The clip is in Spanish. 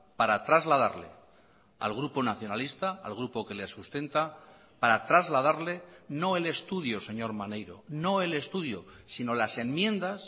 para trasladarle al grupo nacionalista al grupo que le sustenta para trasladarle no el estudio señor maneiro no el estudio sino las enmiendas